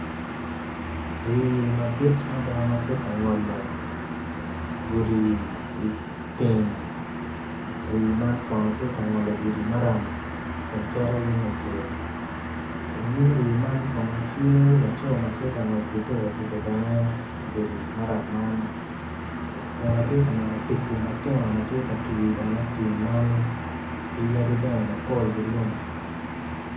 Rii madit mada matye ka ngolo gudi i tim ri man kono tye kangolo gudi maram kun cito yung kucel i nyim rii man kono tye lao matye ka ngwec ki pikipiki bene i godi maram man kun atye ka neno tugu matino matye ka dongo i tim man ki yadi bene mapol ki lum.